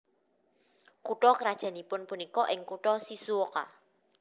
Kutha krajannipun punika ing kutha Shizuoka